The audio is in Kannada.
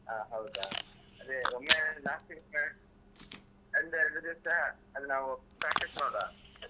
ಹ ಹೌದಾ ಅದೆ ಒಮ್ಮೆ last ದಿವ್ಸ ಒಂದು ಎರಡ್ ದಿವ್ಸ ಅಲ್ಲ್ ನಾವು practice ಮಾಡುವ.